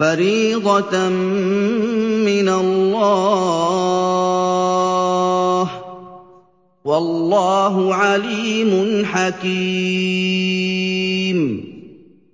فَرِيضَةً مِّنَ اللَّهِ ۗ وَاللَّهُ عَلِيمٌ حَكِيمٌ